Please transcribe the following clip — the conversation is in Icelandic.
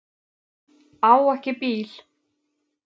Á ekki bíl